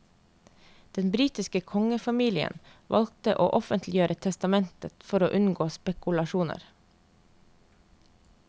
Den britiske kongefamilien valgte å offentliggjøre testamentet for å unngå spekulasjoner.